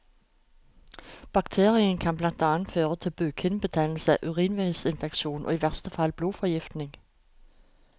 Bakterien kan blant annet føre til bukhinnebetennelse, urinveisinfeksjon og i verste fall blodforgiftning.